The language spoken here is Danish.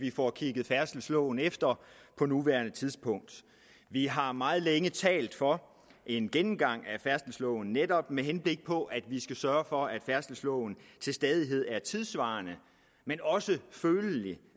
vi får kigget færdselsloven efter på nuværende tidspunkt vi har meget længe talt for en gennemgang af færdselsloven netop med henblik på at vi skal sørge for at færdselsloven til stadighed er tidssvarende men også følelig det